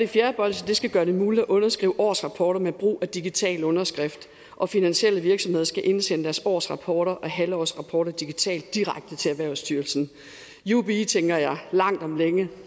fjerde bolsje skal gøre det muligt at underskrive årsrapporter med brug af digital underskrift og finansielle virksomheder skal indsende deres årsrapporter og halvårsrapporter digitalt direkte til erhvervsstyrelsen jubi tænker jeg langt om længe